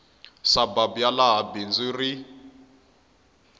surburb ya laha bindzu ri